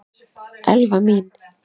Elfa mín!